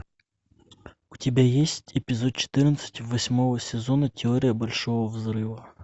у тебя есть эпизод четырнадцать восьмого сезона теория большого взрыва